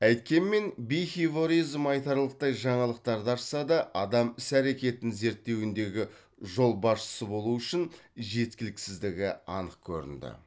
әйткенмен айтарлықтай жаңалықтарды ашса да адам іс әрекетін зерттеуіндегі жолбасшысы болуы үшін жеткіліксіздігі анық көрінді